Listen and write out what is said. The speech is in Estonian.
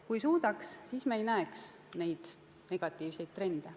Kui suudaks, siis me ei näeks neid negatiivseid trende.